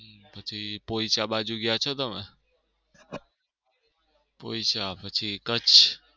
પછી પોઈચા બાજુ ગયા છો તમે? પોઈચા પછી કચ્છ.